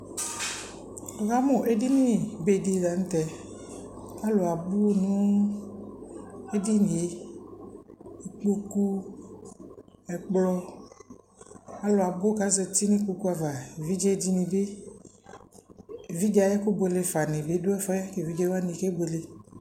Nikamu edini bedi la nu tɛ alu abu nu edinie kpoku ɛkplɔ alu abu kezati nu kpoku ava evidzedinie bi evidze ayu ɛku buelefa nu ɛfuɛ evidzewani kebuele